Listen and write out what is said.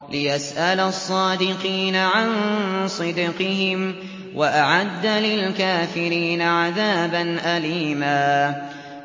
لِّيَسْأَلَ الصَّادِقِينَ عَن صِدْقِهِمْ ۚ وَأَعَدَّ لِلْكَافِرِينَ عَذَابًا أَلِيمًا